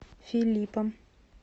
филиппом